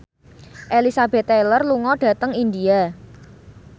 Elizabeth Taylor lunga dhateng India